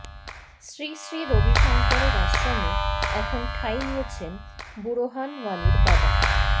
শ্রী শ্রী রবিশঙ্করের আশ্রমে এখন ঠাঁই নিয়েছেন বুরহান ওয়ানির বাবা